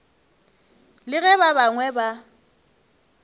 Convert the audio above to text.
le ge ba bangwe ba